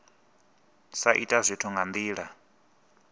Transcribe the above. sa ita zwithu nga ndila